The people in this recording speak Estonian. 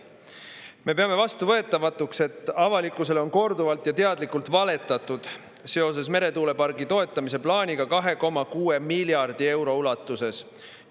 Me peame vastuvõetamatuks, et avalikkusele on korduvalt ja teadlikult valetatud seoses plaaniga toetada meretuuleparki 2,6 miljardi euro ulatuses.